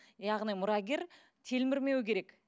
яғни мұрагер телмірмеуі керек